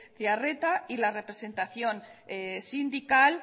zearreta y la representación sindical